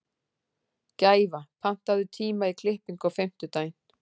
Gæfa, pantaðu tíma í klippingu á fimmtudaginn.